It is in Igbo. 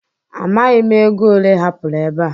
Amaghị m ego ole ị hapụrụ ebe a.